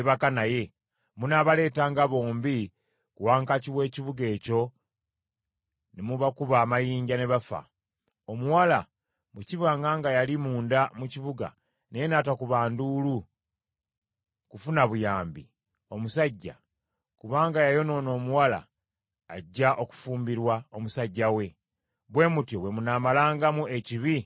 munaabaleetanga bombi ku wankaaki w’ekibuga ekyo ne mubakuba amayinja ne bafa; omuwala, bwe kibanga nga yali munda mu kibuga naye n’atakuba nduulu kufuna buyambi; omusajja, kubanga yayonoona omuwala ajja okufumbirwa omusajja we. Bwe mutyo bwe munaamalangamu ekibi mu mmwe.